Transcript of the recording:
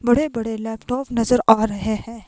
बड़े बड़े लैपटॉप नजर आ रहे हैं।